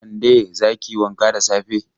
Kande, za ki yi wanka da safe!